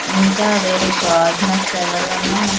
ఇంకా వేరే గోడ్నెస్ ఎవరనే --